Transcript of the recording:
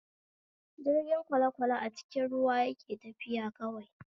Jirgin kwalekwale a cikin ruwa yake tafiya kawai